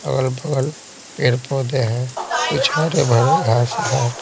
अगल-बगल पेड़-पौधे हैं कुछ हरे भरे घास है।